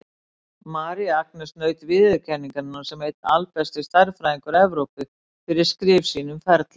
María Agnesi naut viðurkenningar sem einn albesti stærðfræðingur Evrópu, fyrir skrif sín um ferla.